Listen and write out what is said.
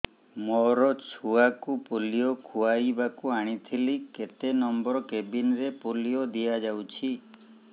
ମୋର ଛୁଆକୁ ପୋଲିଓ ଖୁଆଇବାକୁ ଆଣିଥିଲି କେତେ ନମ୍ବର କେବିନ ରେ ପୋଲିଓ ଦିଆଯାଉଛି